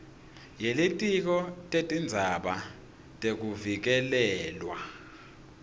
yelitiko letindzaba tekuvikelelwa